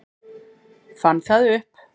Fann það upp.